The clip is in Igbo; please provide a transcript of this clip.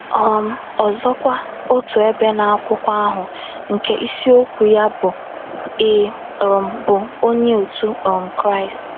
um Ọzọkwa, otu ebe n’akwụkwọ ahụ nke isiokwu ya bụ́ “ Ị̀ um Bụ Onye otu um Kraịst? ”